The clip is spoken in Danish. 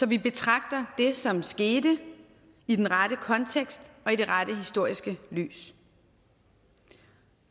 vi betragter det som skete i den rette kontekst og i det rette historiske lys